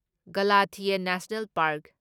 Galathea national park